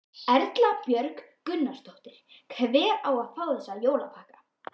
Erla Björg Gunnarsdóttir: Hver á að fá þessa jólapakka?